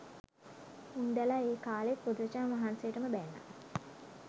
උන්දැලා ඒ කාලෙත් බුදුරජාණන් වහන්සේටම බැන්නා